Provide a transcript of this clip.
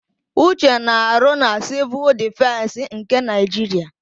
Uche na-arụ na Sịvụl Dịfensị nke Naịjiria.